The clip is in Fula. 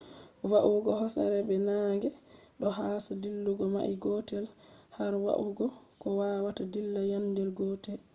va'ugo hosere be naage ɗo hosa dillugo mail gotel har yahugo ko wawata dilla yande gotel